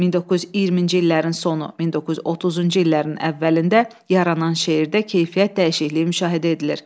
1920-ci illərin sonu, 1930-cu illərin əvvəlində yaranan şeirdə keyfiyyət dəyişikliyi müşahidə edilir.